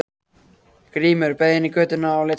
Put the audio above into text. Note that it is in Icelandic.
Grímur beygði inn í götuna og lét telpuna frá sér.